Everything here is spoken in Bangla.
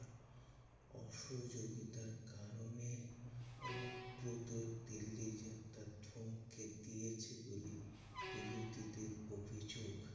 অসহযোগীতার কারণে অনুব্রতর দিল্লি যাতায়াত থমকে দিয়েছে বলেই বিরোধীদের অভিযোগ।